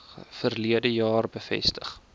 verlede jaar bevestig